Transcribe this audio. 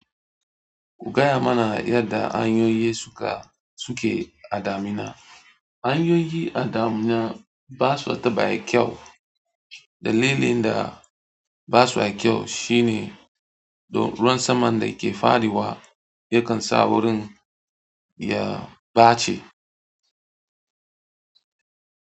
Ku gaya mana yadda hanyoyi suke a damina. Hanyoyi a damina ba su taɓa kyau. Dalilin da basa kyau shine don ruwan saman da ke faɗi wa yakan sa wurin ya ɓace.